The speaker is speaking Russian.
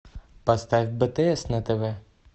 поставь бтс на тв